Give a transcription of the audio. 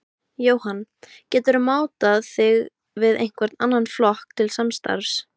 Jóhann: Geturðu mátað þig við einhvern annan flokk til samstarfs?